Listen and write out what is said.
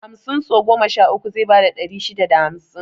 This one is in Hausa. Hamsin sau goma sha uku zai bada ɗari shida da hamsin